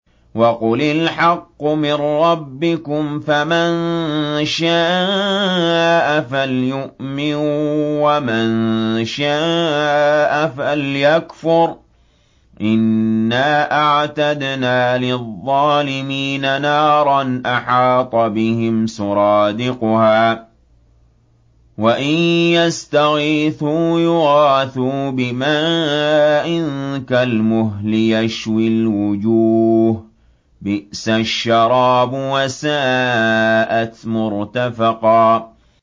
وَقُلِ الْحَقُّ مِن رَّبِّكُمْ ۖ فَمَن شَاءَ فَلْيُؤْمِن وَمَن شَاءَ فَلْيَكْفُرْ ۚ إِنَّا أَعْتَدْنَا لِلظَّالِمِينَ نَارًا أَحَاطَ بِهِمْ سُرَادِقُهَا ۚ وَإِن يَسْتَغِيثُوا يُغَاثُوا بِمَاءٍ كَالْمُهْلِ يَشْوِي الْوُجُوهَ ۚ بِئْسَ الشَّرَابُ وَسَاءَتْ مُرْتَفَقًا